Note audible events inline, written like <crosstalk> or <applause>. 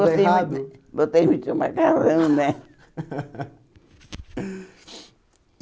Foi errado Botei muito botei muito macarrão, né? <laughs>